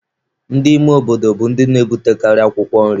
Ndị ime obodo bụ ndị na-ebutekarị̀ akwụkwọ nri.